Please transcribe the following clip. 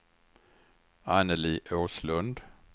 Anneli Åslund